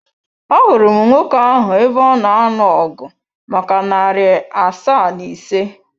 Ahụrụ m nwoke ahụ ebe ọ na anụ ọgu maka narị asaa na ise.